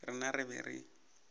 rena re be re go